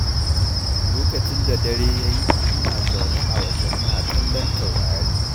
Lokacin da dare ya yayi, ina zaune a waje ina kallon taurari.